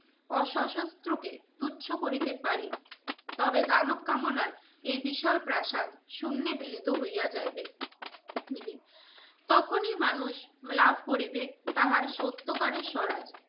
অসশস্ত্রকে তুচ্ছ করিতে পারি তবে দানব কামনার এ বিশাল প্রাসাদ শূন্যে মিলিত হইয়া যাইবে তখনই মানুষ লাভ করিবে তাহার সত্যকারের